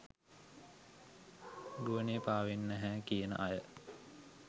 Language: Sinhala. ගුවනේ පාවෙන්නේ නැහැ කියන අය